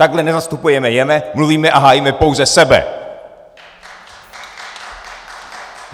Takhle nezastupujeme je, mluvíme a hájíme pouze sebe!